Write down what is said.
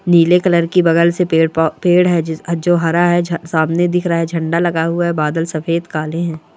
नीले कलर की बगल से पेड़ पो पेड़ हे जो हरा है सामने दिख रहा है झंडा लगा हुआ है बादल सफ़ेद काले हैं।